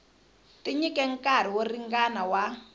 tinyike nkarhi wo ringana wa